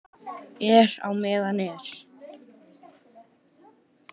Er á meðan er.